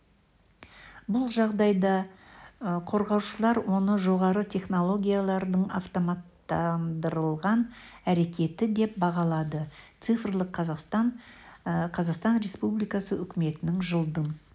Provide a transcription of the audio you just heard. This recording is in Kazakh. бұл жағдайды қорғаушылар оны жоғары технологиялардың автоматтандырылған әрекеті деп бағалады цифрлық қазақстан қазақстан республикасы үкіметінің жылдың